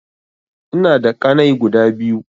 Ina da ƙanai guda biyu